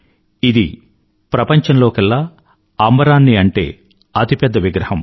ఇది ప్రపంచంలోకెల్లా అంబరాన్నంటే అతి పెద్ద విగ్రహం